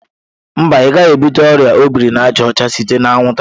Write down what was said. Mba, ị gaghị ebute ọrịa ọ biri na àjà ọcha site na anwụnta.